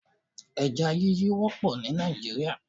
Eja yíyí wópò ní Nàìjíríà